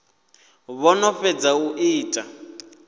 vho no fhedza u ita